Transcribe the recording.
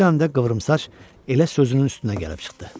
Bu dəmdə qıvrımsaç elə sözünün üstünə gəlib çıxdı.